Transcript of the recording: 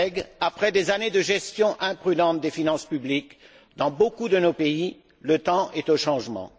Chers collègues, après des années de gestion imprudente des finances publiques, dans beaucoup de nos pays, le temps est au changement.